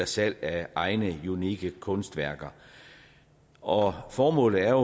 salg af egne unikke kunstværker og formålet er